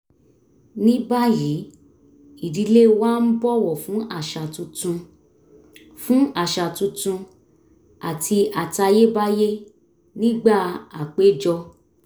ní báyìí ìdílé wa ń bọ̀wọ̀ fún àṣà tuntun fún àṣà tuntun àti àtayébáyé nígbà àpéjọ